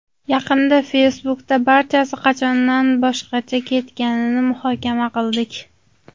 Yaqinda Facebook’da barchasi qachondan boshqacha ketganini muhokama qildik.